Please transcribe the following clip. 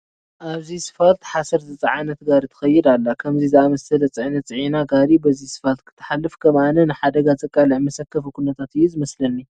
ኣብዚ ስፋልት ሓሰር ዝፀዓነት ጋሪ ትኸይድ ኣላ፡፡ ከምዚ ዝኣምሰለ ፅዕነት ፅዒና ጋሪ በዚ ስፋልት ክትሓልፍ ከም ኣነ ንሓደጋ ዘቃልዕ መሰከፊ ኩነታት እዩ ዝመስለኒ፡፡